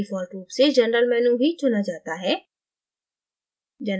default रूप से generalमेनू ही चुना जाता है